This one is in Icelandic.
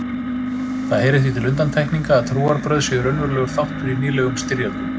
Það heyrir því til undantekninga að trúarbrögð séu raunverulegur þáttur í nýlegum styrjöldum.